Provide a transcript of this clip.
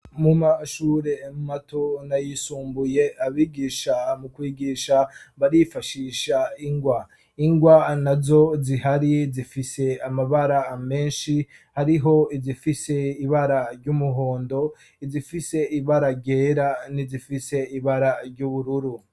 Mu mashure mato n'ayisumbuye, abigisha mu kwigisha barifashisha ingwa, ingwa nazo zihari zifise amabara menshi, hariho izifise ibara ry'umuhondo, izifise ibara ryera n'izifise ibara ry'ubururu.